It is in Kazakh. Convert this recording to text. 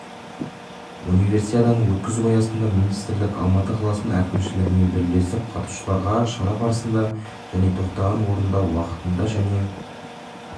универсиаданы өткізу аясында министрлік алматы қаласының әкімшілігімен бірлесіп қатысушыларға шара барысында және тоқтаған орнында уақытында және